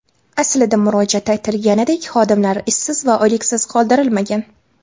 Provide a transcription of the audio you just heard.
Aslida murojaatda aytilganidek, xodimlar ishsiz va oyliksiz qoldirilmagan.